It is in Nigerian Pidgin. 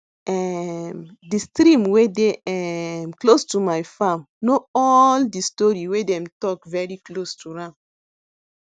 um de stream wey dey um close to my farm know all de story wey dem talk very close to am